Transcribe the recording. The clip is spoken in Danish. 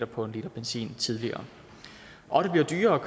på en liter benzin tidligere og det bliver dyrere at